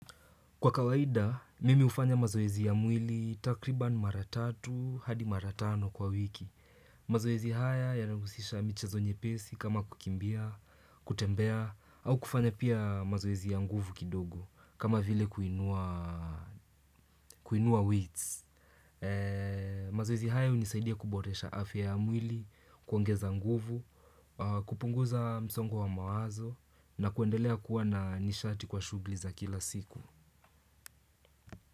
Kwa kawaida, mimi hufanya mazoezi ya mwili takriban maratatu hadi maratano kwa wiki. Mazoezi haya ya nahusisha michezo nyepesi kama kukimbia, kutembea, au kufanya pia mazoezi ya nguvu kidogo kama vile kuinua wits. Mazoezi haya hunisaidia kuboresha afya ya mwili, kuongeza nguvu, kupunguza msongo wa mawazo na kuendelea kuwa na nishati kwa shughuli za kila siku.